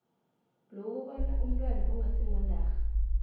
lokubona umntwana ongasimondarha